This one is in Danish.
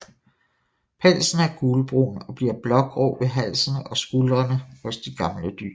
Pelsen er gulbrun og bliver blågrå ved halsen og skuldrene hos de gamle dyr